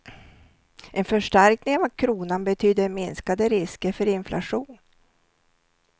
En förstärkning av kronan betyder minskade risker för inflation.